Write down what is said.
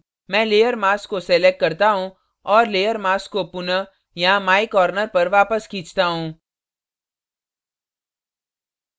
मैं layer mask को select करता हूँ और layer mask को पुनः यहाँ my corner पर वापस खींचता हूँ